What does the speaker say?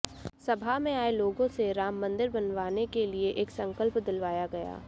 सभा में आए लोगों से राममंदिर बनवाने के लिए संकल्प दिलवाया गया